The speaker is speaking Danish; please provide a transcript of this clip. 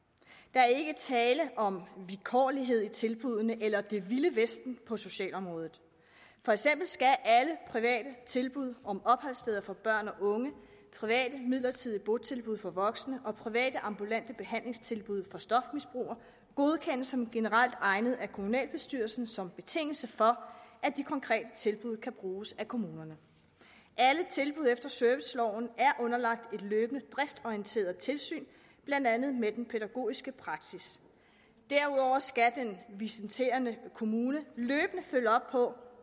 er ikke tale om vilkårlighed i tilbuddene eller det vilde vesten på socialområdet for eksempel skal alle private tilbud om opholdssteder for børn og unge private midlertidige botilbud for voksne og private ambulante behandlingstilbud for stofmisbrugere godkendes som generelt egnede af kommunalbestyrelsen som en betingelse for at de konkrete tilbud kan bruges af kommunerne alle tilbud efter serviceloven er underlagt et løbende driftsorienteret tilsyn blandt andet med den pædagogiske praksis derudover skal den visiterende kommune løbende følge op på